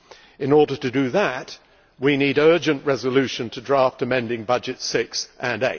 In order to do that, we need the urgent resolution of draft amending budgets 6 and